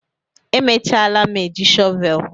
emechalam eji shọvel